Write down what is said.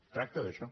es tracta d’això